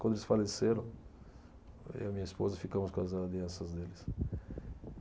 Quando eles faleceram, eu e a minha esposa ficamos com as alianças deles.